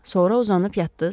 Sonra uzanıb yatdız?